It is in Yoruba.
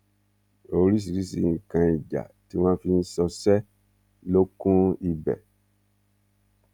oríṣiríṣiì nǹkan ìjà tí wọn fi ń ṣọṣẹ ló kún ibẹ